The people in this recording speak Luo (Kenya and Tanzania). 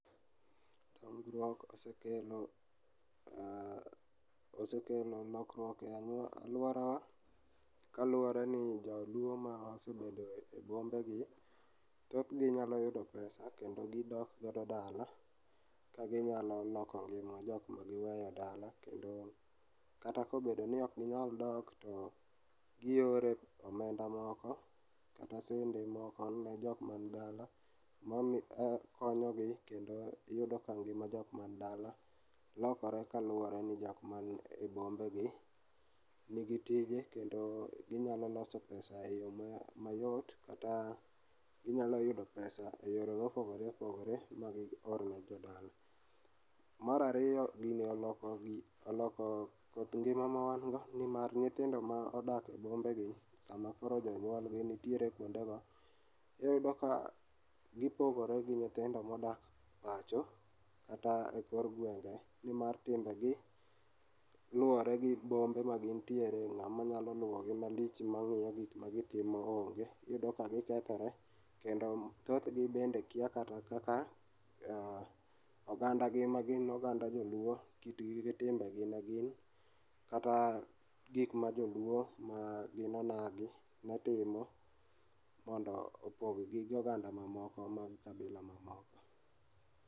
Tudruok osekelo, aah, osekelo lokruok e anyuola,e aluorawa kaluore ni jaluo ma nosebedo e bombe gi tok ginyalo yudo pesa kendo gidok godo dala ka ginyalo loko ngima jokma giweyo dala kendo kata kobedo ni ok ginyal dok to giore omenda moko kata sende moko ne jokman dala makonyogi kendo yudo ka ng'ima jok man dala lokore kaluore ni jokma nie bombe gi nigi tije kendo ginyalo loso pesa e yoo mayot kata ginyalo yudo pesa e yore ma opogore opogore ma gior ne jodala. Mar ariyo gini oloko koth ng'ima ma wan go nimar nyithindo modak bombe gi sama koro jonyuol notie kuonde go iyudo ka gipogore gi nyithindo modak pacho kata e kor gwenge nimar timbegi luore gi bombe magintiere, ng'ama nyao luo gimalich mangiyo gik magitimo onge, iyudo ka gikethore kendo thothgi bende kia kata kaka aa oganda gi magin oganda joluo kitgi gi timbegi negin kata gikma joluo ma gin onagi netimo mondo opog gi oganda mamoko mag kabila mamoko